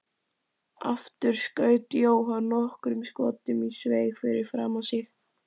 Aftur skaut Jóhann nokkrum skotum í sveig fyrir framan sig.